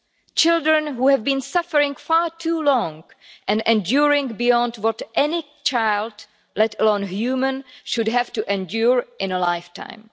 These are children who have been suffering far too long and enduring beyond what anyone should have to endure in a lifetime.